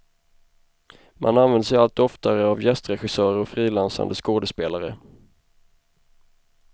Man använder sig allt oftare av gästregissörer och frilansande skådespelare.